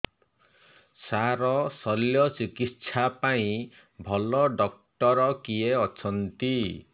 ସାର ଶଲ୍ୟଚିକିତ୍ସା ପାଇଁ ଭଲ ଡକ୍ଟର କିଏ ଅଛନ୍ତି